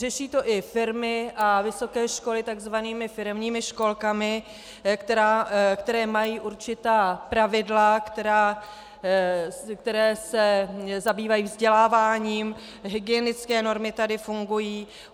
Řeší to i firmy a vysoké školy tzv. firemními školkami, které mají určitá pravidla, které se zabývají vzděláváním, hygienické normy tady fungují.